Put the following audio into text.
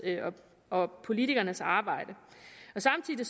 og politikernes arbejde og samtidig